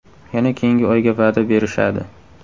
Yana keyingi oyga va’da berishadi.